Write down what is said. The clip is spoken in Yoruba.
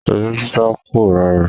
Eré sísá kò rọrùn.